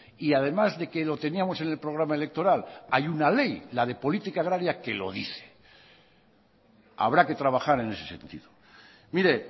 y además de que lo teníamos en el programa electoral hay una ley la de política agraria que lo dice habrá que trabajar en ese sentido mire